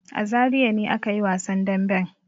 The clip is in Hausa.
A Zariya ne aka yi wasan damben.